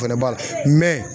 O fɛnɛ b'a la